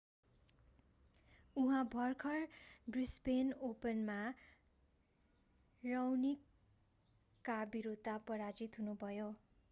उहाँ भर्खर ब्रिसबेन ओपनमा राओनिकका विरूद्ध पराजित हुनुभयो